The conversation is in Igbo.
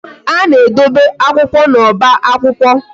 A na-edobe akwụkwọ na oba akwụkwọ